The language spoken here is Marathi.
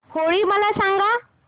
होळी मला सांगा